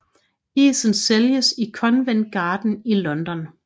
Isen sælges i Covent Garden i London